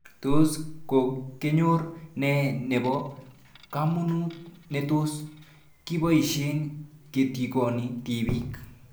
Tos kokenyor nee nepo kamanut netos kipoishe ketikoni tipik